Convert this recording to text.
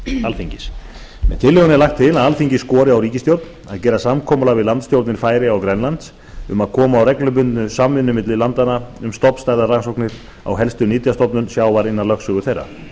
alþingis með tillögunni er lagt til að alþingi skori á ríkisstjórnina að gera samkomulag við landsstjórnir færeyja og grænlands um að koma á reglubundinni samvinnu milli landanna um stofnstærðarrannsóknir á helstu nytjastofnum sjávar innan lögsögu þeirra